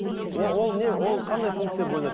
ол не ол қандай пунктте бөлінеді